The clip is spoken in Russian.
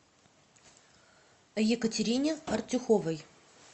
екатерине артюховой